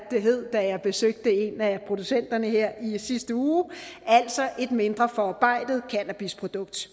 det hed da jeg besøgte en af producenterne her i sidste uge altså et mindre forarbejdet cannabisprodukt